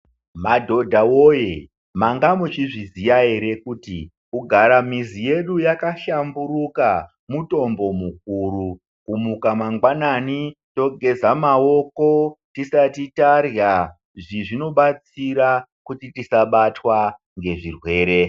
Madhodha voye manga muchizviziya ere kuti kugara mizi yedu yakahlamburuka mutombo mukuru. Kumuka mangwanani togeza maoko tisati tarya, izvi zvinobatsira kuti tasabtwa ngezvirwere.